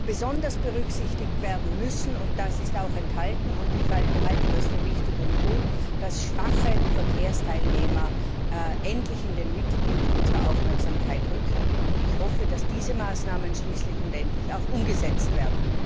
Besonders berücksichtigt werden muss das ist auch im Bericht enthalten, und ich halte das für wichtig und gut dass schwache Verkehrsteilnehmer endlich in den Mittelpunkt unserer Aufmerksamkeit rücken, und ich hoffe, dass diese Maßnahmen schließlich und endlich auch umgesetzt werden.